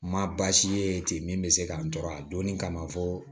Ma baasi ye ten min bɛ se k'an tɔɔrɔ a donni kama fɔ